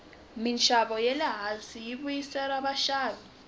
minxavo ya le hansi yi vuyerisa vaxavi